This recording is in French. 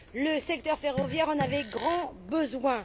Le secteur ferroviaire en avait grand besoin.